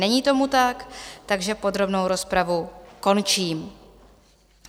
Není tomu tak, takže podrobnou rozpravu končím.